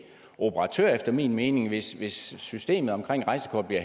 operatør efter min mening hvis hvis systemet omkring rejsekortet